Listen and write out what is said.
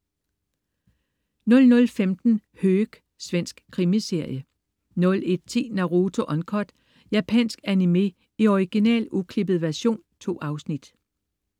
00.15 Höök. Svensk krimiserie 01.10 Naruto Uncut. Japansk animé i original, uklippet version. 2 afsnit